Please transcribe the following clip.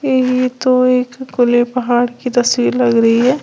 यही तो एक खुले पहाड़ की तस्वीर लग रही है।